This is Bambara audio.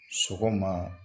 Sɔgɔma